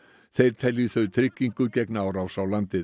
þeir telji þau tryggingu gegn árás á landið